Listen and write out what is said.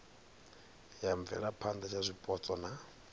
ya mvelaphana ya zwipotso na